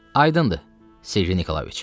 Aydındır, Sergey Nikolayeviç.